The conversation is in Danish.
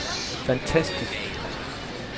fantastisk